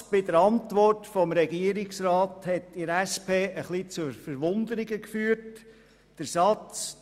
Ein Satz in der Antwort des Regierungsrats hat in der SP etwas zu Verwunderung geführt, nämlich der Satz: